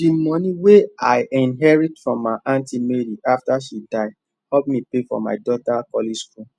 the money wey i inherit from my aunty mary after she die help me pay for my daughter college school